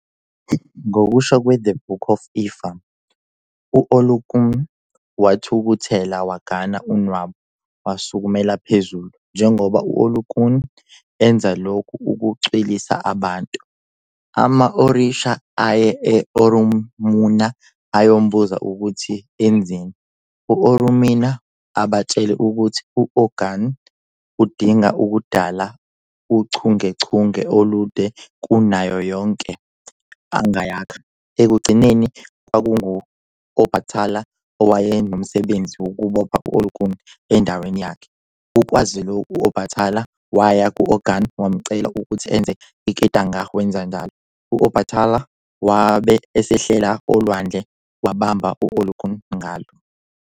Ngokusho "kweThe Book Of Ifá", u-Olokun wathukuthela wagana unwabu wasukumela phezulu. Njengoba u-Olokun enza lokhu ukucwilisa abantu, ama-orisha aye e- Orunmila ayombuza ukuthi enzeni. U-Orunmila ubatshele ukuthi u- Ogun udinga ukudala uchungechunge olude kunayo yonke angayakha. Ekugcineni kwakungu- Obatala owayenomsebenzi wokubopha u-Olokun endaweni yakhe. Ukwazi lokhu, u-Obatala waya ku-Ogun wamcela ukuthi enze iketanga wenza njalo. U-Obatala wabe esehlela olwandle wabamba u-Olokun ngalo.